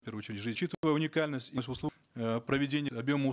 в первую очередь уникальность проведения объема